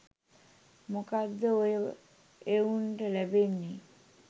මොකක්ද ඔය එවුන්ට ලැබෙන්නේ.